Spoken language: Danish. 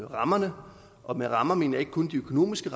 rammerne og med rammer mener jeg ikke kun de økonomiske